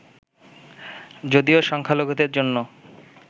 যদিও সংখ্যালঘুদের জন্য